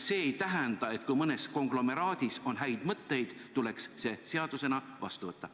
Kui mõnes konglomeraadis on häid mõtteid, siis see ei tähenda, et see tuleks seadusena vastu võtta.